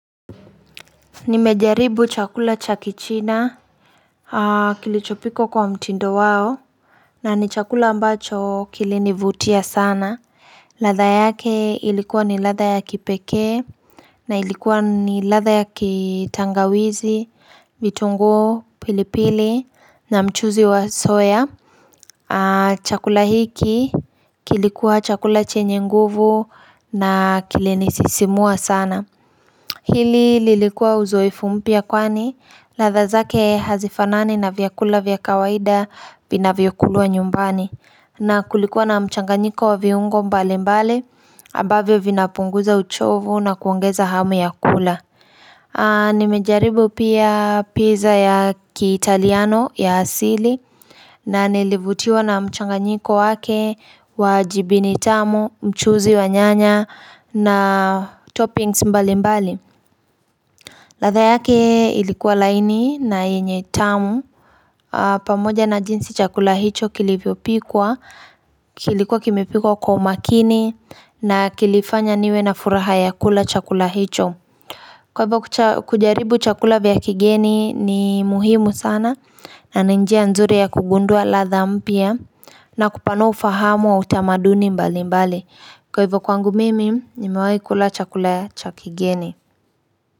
Nimejaribu chakula cha kichina kilichopikwa kwa mtindo wao. Na ni chakula ambacho kilinivutia sana ladha yake ilikuwa ni ladha ya kipekee. Na ilikuwa ni ladha ya kitangawizi, vitunguu, pilipili na mchuzi wa soya. Chakula hiki, kilikuwa chakula chenye nguvu na kilinisisimua sana Hili lilikuwa uzoefu mpya kwani ladha zake hazifanani na vyakula vya kawaida vinavyokulwa nyumbani. Na kulikuwa na mchanganyiko wa viungo mbalimbali, ambavyo vinapunguza uchovu na kuongeza hamu ya kula. Nimejaribu pia pizza ya kiitaliano ya asili na nilivutiwa na mchanganyiko wake wa jibini tamu, mchuzi wa nyanya na toppings mbalimbali. Ladha yake ilikuwa laini na yenye tamu pamoja na jinsi chakula hicho kilivyopikwa, kilikuwa kimepikwa kwa umakini na kilifanya niwe na furaha ya kula chakula hicho. Kwa hivyo kujaribu chakula vya kigeni ni muhimu sana na ni njia nzuri ya kugundua ladha mpya. Na kupanua ufahamu wa utamaduni mbalimbali. Kwa hivyo kwangu mimi nimewahi kula chakula ya, cha kigeni.